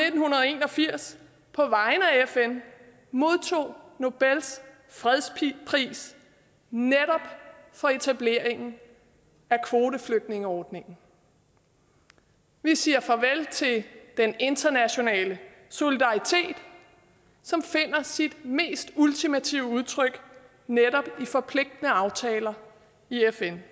og firs på vegne af fn modtog nobels fredspris netop for etableringen af kvoteflygtningeordningen vi siger farvel til den internationale solidaritet som finder sit mest ultimative udtryk netop i forpligtende aftaler i fn